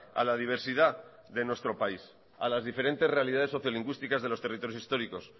a la diversidad de nuestro país a las diferentes realidades sociolingüísticas de los territorios históricos